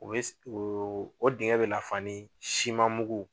O be o dingɛn be lafa ni siman mugu